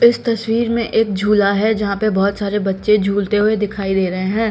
इस तस्वीर में एक झूला है जहां पर बहुत सारे बच्चे झूलते हुए दिखाई दे रहे हैं।